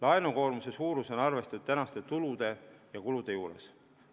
Laenukoormuse suurus on arvestatud tänaste tulude ja kulude juures.